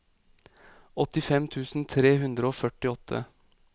åttifem tusen tre hundre og førtiåtte